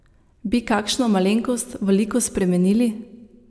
Bi kakšno malenkost v liku spremenili?